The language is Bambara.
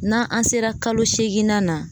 N'an an sera kalo seeginna na